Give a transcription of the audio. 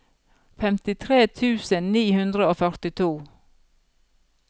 femtitre tusen ni hundre og førtito